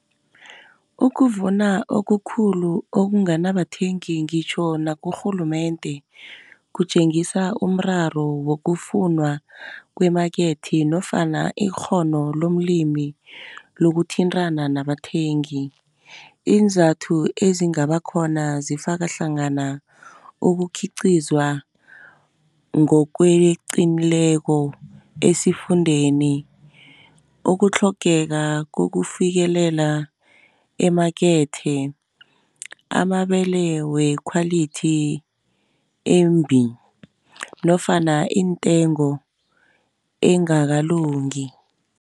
Ukuvuna okukhulu okunganabathengi ngitjho nakurhulumende kutjengisa umraro wokufundwa kwemakethe, nofana ikghono lomlimi lokuthintana nabathengi. Iinzathu ezingaba khona zifaka hlangana ukukhiqhizwa ngokweqileko esifundeni. Ukutlhogeka kokufikelela emakethe, amabele wekhwalithi embi nofana intengo engakalungi.